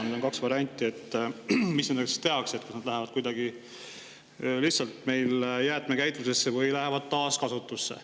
Nüüd on kaks varianti, mis nendega siis tehakse: need kas lähevad meil lihtsalt kuidagi jäätmekäitlusesse või taaskasutusse.